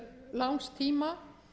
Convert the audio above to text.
langs tíma